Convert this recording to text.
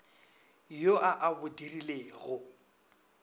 yo a a bo dirilego